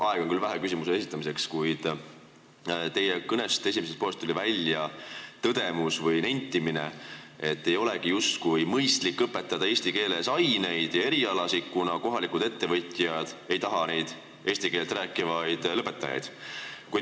Aega on küll vähe küsimuse esitamiseks, kuid ütlen, et teie kõne esimesest poolest tuli välja tõdemus või nentimine, et ei olegi justkui mõistlik õpetada aineid ja erialasid eesti keeles, kuna kohalikud ettevõtjad ei taha neid eesti keelt rääkivaid lõpetajaid.